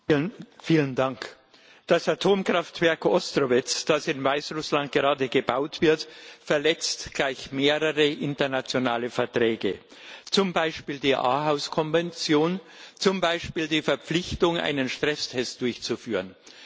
Herr Präsident! Das Atomkraftwerk Ostrowets, das in Weißrussland gerade gebaut wird, verletzt gleich mehrere internationale Verträge zum Beispiel die Aarhus Konvention, zum Beispiel die Verpflichtung, einen Stresstest durchzuführen.